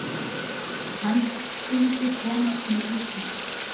Hann skyldi komast með rútunni.